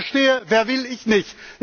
Das verstehe, wer will, ich nicht!